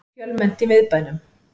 Fjölmennt í miðbænum